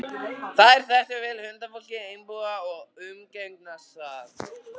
Þær þekktu vel huldufólkið í Einbúa og umgengust það.